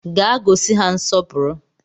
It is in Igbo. Gaa gosi ha nsọpụrụ!